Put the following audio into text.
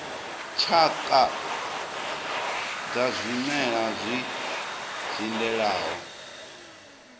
tshakha dza zwimela zwi dzindelaho